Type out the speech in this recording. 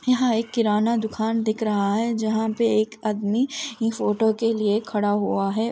यहाँ एक किराना दूकान दिख रहा है जहॉ पे आदमी फोटो के लिए खड़ा हुआ है।